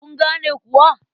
Kun gane kuwa?